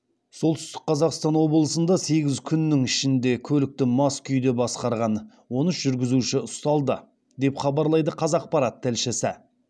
солтүстік қазақстан облысында сегіз күннің ішінде көлікті мас күйде басқарған он үш жүргізуші ұсталды деп хабарлайды қазақпарат тілшісі